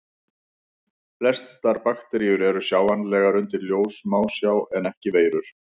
Flestar bakteríur eru sjáanlegar undir ljóssmásjá en ekki veirur.